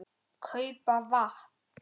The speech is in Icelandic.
. kaupa vatn.